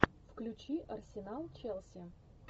включи арсенал челси